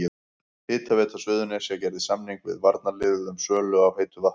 Hitaveita Suðurnesja gerði samning við varnarliðið um sölu á heitu vatni.